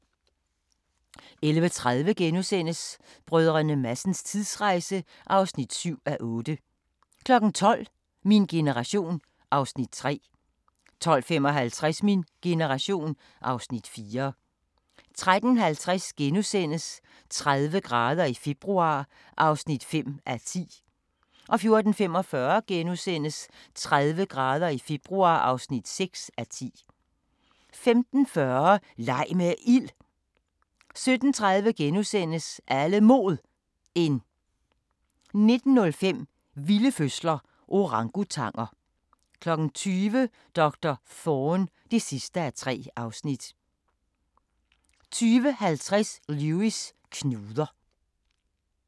11:30: Brdr. Madsens tidsrejse (7:8)* 12:00: Min generation (Afs. 3) 12:55: Min generation (Afs. 4) 13:50: 30 grader i februar (5:10)* 14:45: 30 grader i februar (6:10)* 15:40: Leg med ild! 17:30: Alle Mod 1 * 19:05: Vilde fødsler – Orangutanger 20:00: Doktor Thorne (3:3) 20:50: Lewis: Knuder